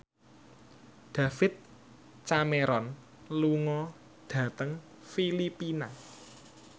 David Cameron lunga dhateng Filipina